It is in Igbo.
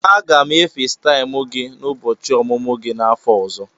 Aga m e Fesitaimu gị n'ụbọchị ọmụmụ gị n'afọ ọzọ.